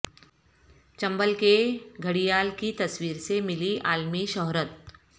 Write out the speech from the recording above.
چمبل کے گھڑیال کی تصویر سے ملی عالمی شہرت